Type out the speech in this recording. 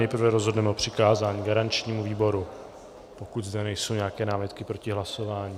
Nejprve rozhodneme o přikázání garančnímu výboru - pokud zde nejsou nějaké námitky proti hlasování.